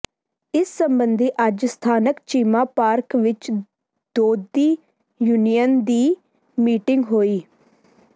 ਇਸ ਸਬੰਧੀ ਅੱਜ ਸਥਾਨਕ ਚੀਮਾ ਪਾਰਕ ਵਿੱਚ ਦੋਧੀ ਯੂਨੀਅਨ ਦੀ ਮੀਟਿੰਗ ਹੋਈ